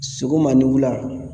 Sogoma ni wula